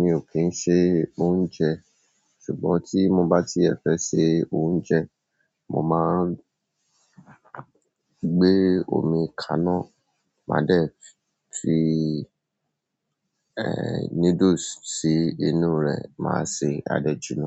Mi ò kì n ṣe oúnjẹ but tí mo bá ti ẹ fẹ́ ṣe oúnjẹ, mo má ń gbé omi kaná ma de fi nudusi sínú rẹ̀, má se, ade jina.